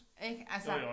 Ik altså